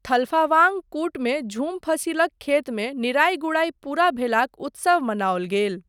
थलफावांग कुटमे झूम फसिलक खेतमे निराइ गुड़ाइ पूरा भेलाक उत्सव मनाओल गेल।